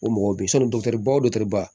O mɔgɔw bɛ yen sɔnni dɔ ba o ba